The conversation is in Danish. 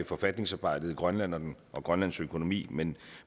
forfatningsarbejdet i grønland og grønlands økonomi men